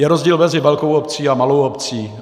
Je rozdíl mezi velkou obcí a malou obcí.